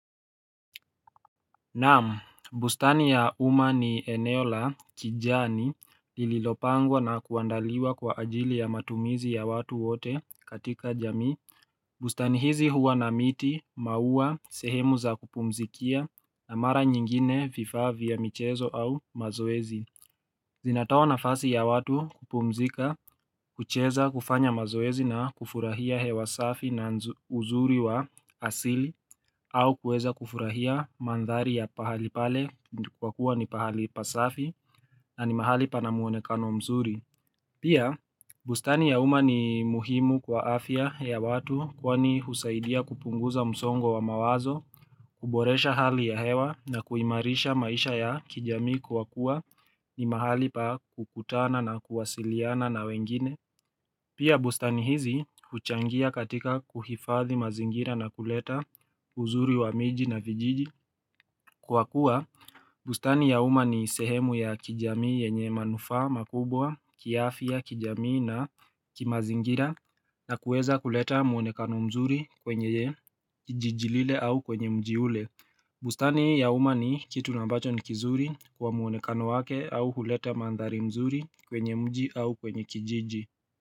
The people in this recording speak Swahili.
Naam, bustani ya umma ni eneo la kijani lililopangwa na kuandaliwa kwa ajili ya matumizi ya watu wote katika jamii. Bustani hizi huwa na miti, maua, sehemu za kupumzikia na mara nyingine vifaa vya michezo au mazoezi. Zinatoa nafasi ya watu kupumzika, kucheza, kufanya mazoezi na kufurahia hewa safi na uzuri wa asili au kuweza kufurahia mandhari ya pahali pale kwa kuwa ni pahali pasafi na ni mahali pana muonekano mzuri. Pia, bustani ya umma ni muhimu kwa afya ya watu kwani husaidia kupunguza msongo wa mawazo, kuboresha hali ya hewa na kuimarisha maisha ya kijami kwa kuwa ni mahali pa kukutana na kuwasiliana na wengine. Pia bustani hizi huchangia katika kuhifadhi mazingira na kuleta uzuri wa miji na vijiji. Kwa kuwa bustani ya umma ni sehemu ya kijamii yenye manufaa, makubwa, kiafya kijamii na kimazingira na kuweza kuleta muonekano mzuri kwenye kijiji lile au kwenye mji ule. Bustani ya umma ni kitu na ambacho ni kizuri kwa muonekano wake au huleta mandhari mzuri kwenye mji au kwenye kijiji.